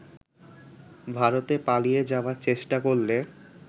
ভারতে পালিয়ে যাবার চেষ্টা করলে